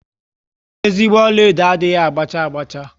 Ezigbo ọlaedo adịghị ágbá cha agba cha